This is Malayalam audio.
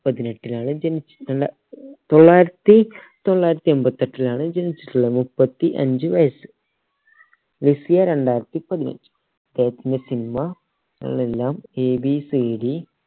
പതിനെട്ടിലാണ് ജനിച്ച രണ്ട തൊള്ളായിരത്തി തൊള്ളായിരത്തി എൺപത്തി എട്ടിലാണ് ജനിച്ചിട്ടുള്ളത് മുപ്പത്തി അഞ്ച് വയസ്സ് ലിസിയെ രണ്ടായിരത്തി പതിനഞ്ച്